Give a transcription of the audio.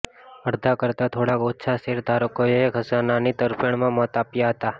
અડધા કરતાં થોડાક ઓછા શેરધારકોએ ખઝાનાની તરફેણમાં મત આપ્યા હતા